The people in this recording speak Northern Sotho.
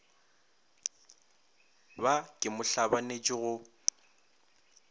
ba ke mo hlabanetše go